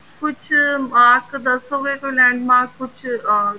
ਕੁੱਝ mark ਦੱਸੋਗੇ ਕੋਈ land mark ਕੁੱਝ ਅਹ